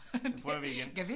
Prøver vi igen